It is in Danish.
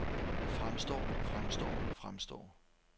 fremstår fremstår fremstår